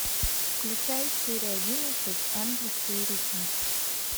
включай серия одиннадцать ангельские ритмы